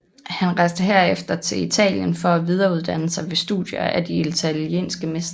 Han rejste herefter til Italien for at videreuddanne sig ved studier af de italienske mestre